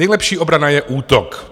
Nejlepší obrana je útok.